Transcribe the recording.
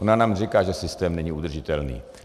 Ona nám říká, že systém není udržitelný.